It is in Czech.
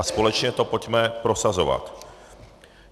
A společně to pojďme prosazovat.